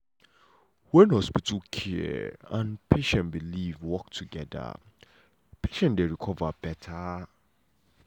when hospital care and patient belief work together patient dey recover beta.